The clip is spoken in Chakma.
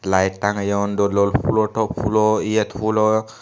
light tangeyon dol dol pulo top pulo yet pulo.